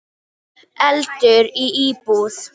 Eldur í íbúð